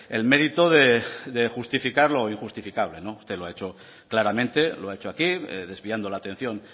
el mérito de justificar lo injustificable usted lo ha hecho claramente lo ha hecho aquí desviando la atención